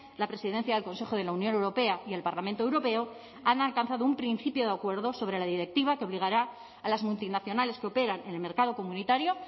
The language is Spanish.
la presidencia del consejo de la unión europea y el parlamento europeo han alcanzado un principio de acuerdo sobre la directiva que obligará a las multinacionales que operan en el mercado comunitario